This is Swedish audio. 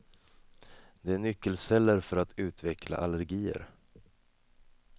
De är nyckelceller för att utveckla allergier.